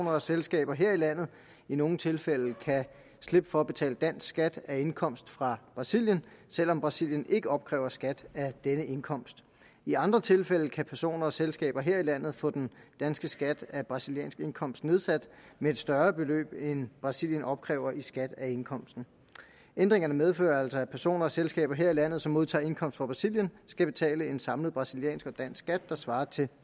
og selskaber her i landet i nogle tilfælde kan slippe for at betale dansk skat af indkomst fra brasilien selv om brasilien ikke opkræver skat af denne indkomst i andre tilfælde kan personer og selskaber her i landet få den danske skat af brasiliansk indkomst nedsat med et større beløb end brasilien opkræver i skat af indkomsten ændringerne medfører altså at personer og selskaber her i landet som modtager indkomst fra brasilien skal betale en samlet brasiliansk og dansk skat der svarer til et